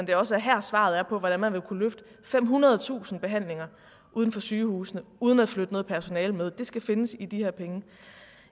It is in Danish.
det også er her svaret er på hvordan man vil kunne løfte femhundredetusind behandlinger ud fra sygehusene uden at flytte noget personale med det skal findes i de her penge